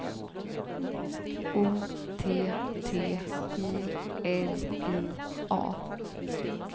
O T T I L I A